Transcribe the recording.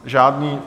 Žádný.